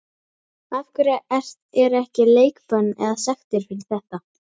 Af hverju er ekki leikbönn eða sektir fyrir þetta?